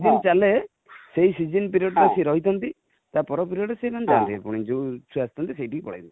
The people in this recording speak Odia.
ଯୋଉ season ଚାଲେ ସେଇ season period ଟା ସେ ରହିଥାନ୍ତି ,ତା ପର period ରେ ସେମାନେ ଯାଆନ୍ତି ପୁଣି ଯୋଉଠୁ ଆସିଥାନ୍ତି ସେଠି କି ପଳେଇବେ